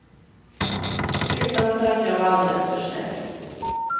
Utan för att jag var alldeles för snäll.